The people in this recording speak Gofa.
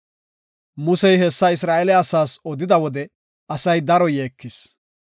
Musey hessa Isra7eele asaas odida wode asay daro yeekis.